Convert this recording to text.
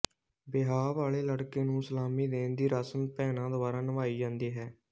ਵਿਆਹ ਵਾਲੇ ਲੜਕੇ ਨੂੰ ਸਲਾਮੀ ਦੇਣ ਦੀ ਰਸਮ ਭੈਣਾਂ ਦੁਆਰਾ ਨਿਭਾਈ ਜਾਂਦੀ ਹੈ